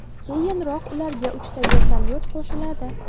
Keyinroq ularga uchta vertolyot qo‘shiladi.